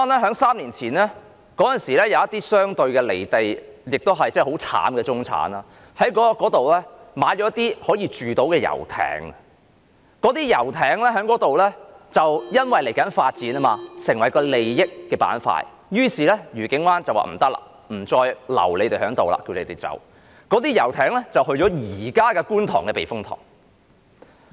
在3年前，愉景灣有一些相對"離地"及很悽慘的中產人士，他們在那裏購買了一些可居住的遊艇，而因為那裏接下來要發展，便成為了利益的板塊，於是愉景灣便說不行，不可以再把它們留在那裏，要求它們離開。